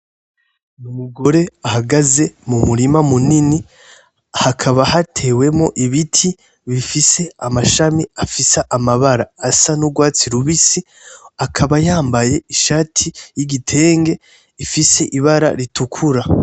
Umugore ahagaze mu murima munini hakaba hatewemwo ibiti bifise amashami afise amabara asa n'urwatsi rubisi akaba yambaye ishati y'igitenge ifise ibara ritukura.